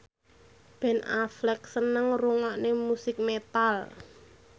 Ben Affleck seneng ngrungokne musik metal